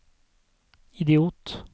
idiot